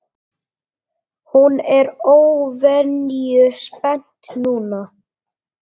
Hún er óvenju spennt núna.